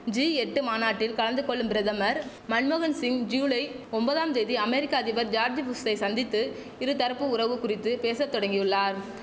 G எட்டு மாநாட்டில் கலந்து கொள்ளும் பிரதமர் மன்மோகன்சிங் ஜூலை ஒம்பதாம் தேதி அமேரிக்க அதிபர் ஜார்ஜ் புஷ்சை சந்தித்து இரு தரப்பு உறவு குறித்து பேச்ச தொடங்கியுள்ளார்